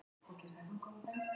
Ég get ekki svarað því.